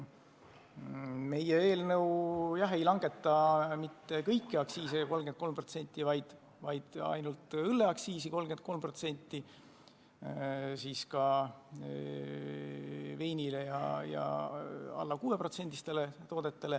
Meie eelnõu ei taha langetada mitte kõiki aktsiise 33%, vaid ainult õllel, veinil ja alla 6%-listel toodetel.